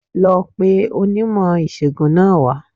Lọ pe onímò ìṣègùn náà wá